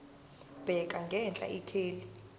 bheka ngenhla ikheli